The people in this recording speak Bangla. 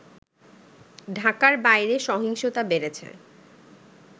ঢাকার বাইরে সহিংসতা বেড়েছে